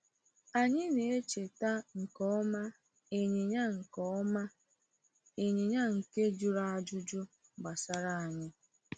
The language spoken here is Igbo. Anyị na-echeta nke ọma ịnyịnya nke ọma ịnyịnya nke jụrụ ajụjụ gbasara anyị.